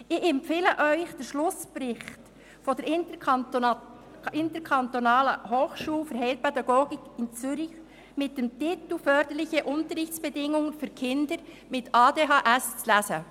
Ich empfehle Ihnen, den Schlussbericht der Interkantonalen Hochschule für Heilpädagogik (HfH) in Zürich mit dem Titel «Förderliche Unterrichtsbedingungen für Schulkinder mit einer ADHS» zu lesen.